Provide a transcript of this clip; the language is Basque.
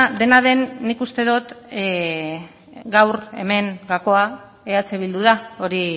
dena den nik uste dut gaur hemen gakoa eh bildu da hori